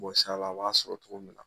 Bɔs'a la a b'a sɔrɔ cogo min na